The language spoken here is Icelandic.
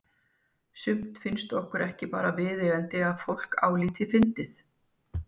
Sumt finnst okkur bara ekki vera viðeigandi að fólk álíti fyndið.